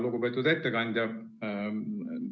Lugupeetud ettekandja!